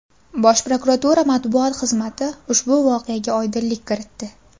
Bosh prokuratura matbuot xizmati ushbu voqeaga oydinlik kiritdi .